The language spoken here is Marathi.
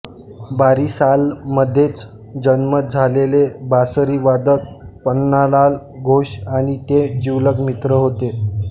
बारिसालमधेच जन्म झालेले बासरीवादक पन्नालाल घोष आणि ते जिवलग मित्र होते